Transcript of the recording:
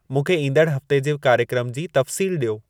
मूंखे ईंदड़ हफ़्ते जे कार्यक्रम जी तफ़्सील ॾियो